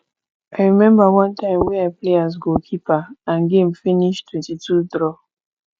i remember one time wey i play as goal keeper and game finish 22 draw